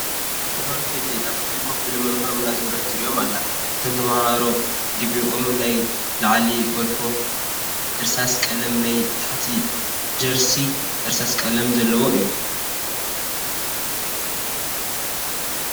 ተምሃሮ ኬጂ ኣብ ክፍሎ ኮፍ ኢሎም ምምህሮም እናዘረት ትሪኦም ኣላ። ኣቶም ተምሃሮ ዲቪኦም ናይ ላዕሊ ጎልፎ እርሳስ ቀላም ናይ ታሕቲ ጀርሲ እርሳስ ቅልም ዘልዎ እዩ።